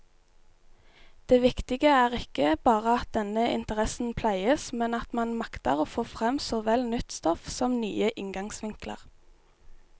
Det viktige er ikke bare at denne interessen pleies, men at man makter få frem såvel nytt stoff som nye inngangsvinkler.